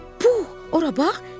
Puh, ora bax!